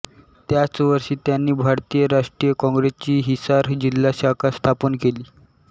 त्याच वर्षी त्यांनी भारतीय राष्ट्रीय काँग्रेसची हिसार जिल्हा शाखा स्थापन केली